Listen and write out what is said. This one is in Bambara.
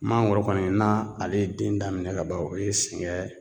Mangoro kɔni na ale ye den daminɛ ka ban o ye sɛgɛn